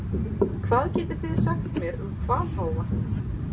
Hvað getið þið sagt mér um hvalháfa?